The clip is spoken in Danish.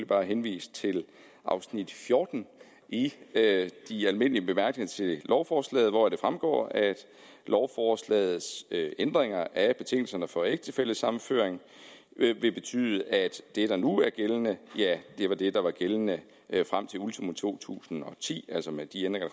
bare henvise til afsnit fjorten i de almindelige bemærkninger til lovforslaget hvoraf det fremgår at lovforslagets ændringer af betingelserne for ægtefællesammenføring vil betyde at det der nu er gældende er det der var gældende frem til ultimo to tusind og ti altså med de ændringer